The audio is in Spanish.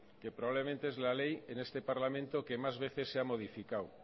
que probablemente es la ley en este parlamento que más veces se ha modificado